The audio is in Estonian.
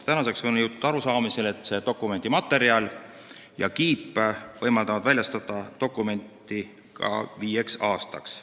Tänaseks on jõutud arusaamisele, et selle dokumendi materjal ja kiip võimaldavad dokumenti väljastada ka viieks aastaks.